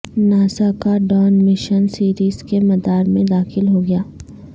NASA کا Dawn mission Ceres کے مدار میں داخل ہو گیا